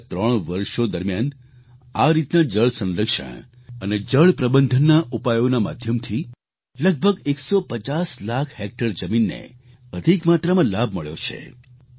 પાછલા ત્રણ વર્ષો દરમિયાન આ રીતના જળ સંરક્ષણ અને જળ પ્રબંધનના ઉપાયોના માધ્યમથી લગભગ 150 લાખ હેક્ટર જમીનને અધિક માત્રામાં લાભ મળ્યો છે